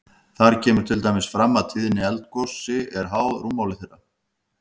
Þar kemur til dæmis fram að tíðni eldgosi er háð rúmmáli þeirra.